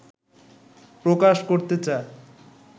প্রকাশ করতে চায়